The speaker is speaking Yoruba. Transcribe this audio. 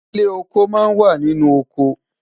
ilé ọkọ má n wà nínú ọkọ